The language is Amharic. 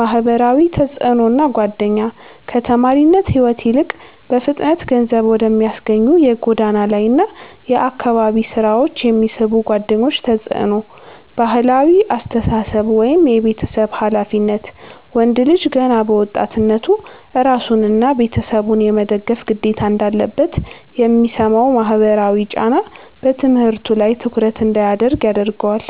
ማህበራዊ ተጽዕኖና ጓደኛ፦ ከተማሪነት ሕይወት ይልቅ በፍጥነት ገንዘብ ወደሚያስገኙ የጎዳና ላይና የአካባቢ ሥራዎች የሚስቡ ጓደኞች ተጽዕኖ። ባህላዊ አስተሳሰብ (የቤተሰብ ኃላፊነት)፦ ወንድ ልጅ ገና በወጣትነቱ ራሱንና ቤተሰቡን የመደገፍ ግዴታ እንዳለበት የሚሰማው ማህበራዊ ጫና በትምህርቱ ላይ ትኩረት እንዳያደርግ ያደርገዋል።